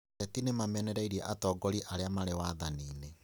Ateti nĩmamenereirie atongoria arĩa marĩ wathaninĩ